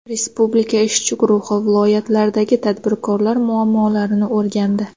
Respublika ishchi guruhi viloyatlardagi tadbirkorlar muammolarini o‘rgandi.